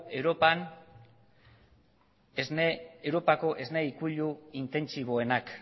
europako esne ikuilu intentsiboenak